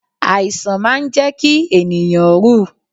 Àìsàn máa ń jẹ́ kí ènìyàn rú ù.